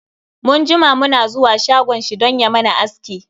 Mun jima mu na zuwa shagon shi dan ya mana aski.